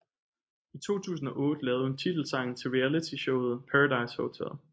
I 2008 lavede hun titelsangen til Reality showet Paradise Hotel